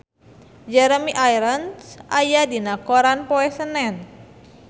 Jeremy Irons aya dina koran poe Senen